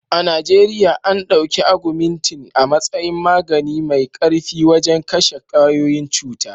A Najeriya.an ɗauki agumintin a matsayin magani mai ƙarfi wajen kashe ƙwayoyin cuta.